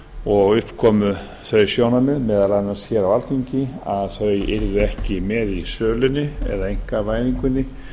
og upp komu þau sjónarmið meðal annars hér á alþingi að þau yrðu ekki með í sölunni eða einkavæðingunni